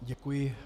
Děkuji.